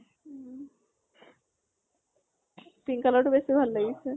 উম pink color টো বেছি ভাল লাগিছে।